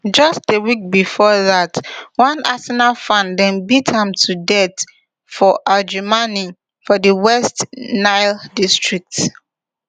just a week bifor dat one arsenal fan dem beat am to death for adjumani for di west nile district